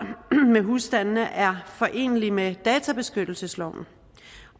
med husstandene er forenelig med databeskyttelsesloven